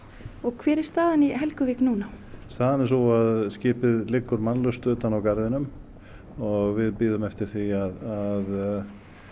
hver er staðan í Helguvík núna staðan er sú að skipið liggur mannlaust utan á garðinum og við bíðum eftir því að